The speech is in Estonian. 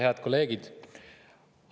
Head kolleegid!